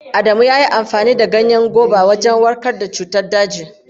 Adamu ya yi amfani da ganyen goba wajen warkar da cutar daji.